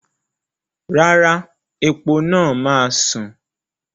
Rárá, epo náà máa sùn.